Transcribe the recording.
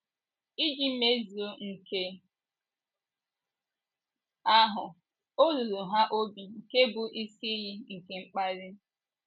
Iji mezuo nke ahụ, ọ ruru ha obi nke bụ́ isi iyi nke mkpali.